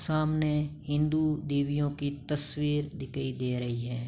सामने हिन्दू देवियों की तस्वीर दिकई दे रही हैं।